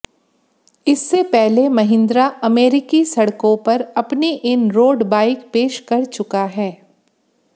इससे पहले महिंद्रा अमेरिकी सड़कों पर अपनी इन रोड बाइक पेश कर चुका है